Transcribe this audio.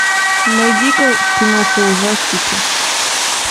найди ка киноху ужастики